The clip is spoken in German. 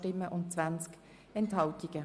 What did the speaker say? Sie haben diesen Antrag abgelehnt.